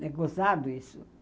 É gozado isso.